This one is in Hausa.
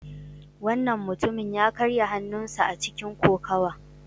Wannan mutumin ya karya hannunsa a cikin kokawa.